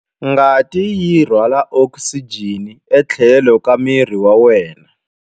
Ngati yi rhwala okisijeni etlhelo ka miri wa wena.